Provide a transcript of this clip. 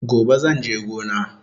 Gobe zanje gona